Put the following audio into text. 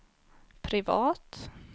privat